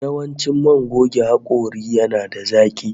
Yawancin man goge hakori yana da zaki